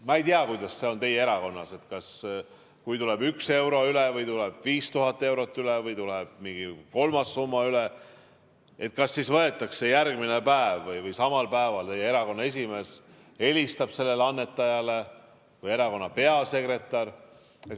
Ma ei tea, kuidas see on teie erakonnas, kas siis, kui tuleb 1 euro üle või tuleb 5000 eurot üle või tuleb mingi kolmas summa üle, järgmine päev või samal päeval teie erakonna esimees helistab sellele annetajale või helistab erakonna peasekretär.